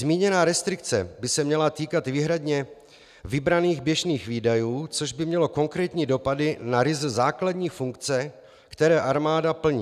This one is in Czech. Zmíněná restrikce by se měla týkat výhradně vybraných běžných výdajů, což by mělo konkrétní dopady na ryze základní funkce, které armáda plní.